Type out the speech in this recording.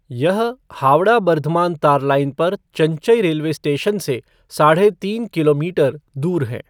यह हावड़ा बर्धमान तार लाइन पर चंचई रेलवे स्टेशन से साढ़े तीन किलोमीटर दूर है।